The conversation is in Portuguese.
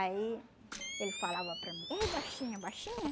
Aí ele falava para mim, eh baixinha, baixinha?